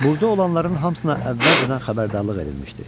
Burda olanların hamısına əvvəlcədən xəbərdarlıq edilmişdi.